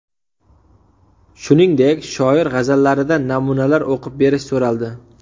Shuningdek, shoir g‘azallaridan namunalar o‘qib berish so‘raldi.